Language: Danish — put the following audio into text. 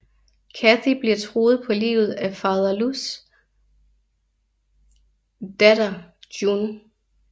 Cathy bliver truet på livet af fader Lus datter Jun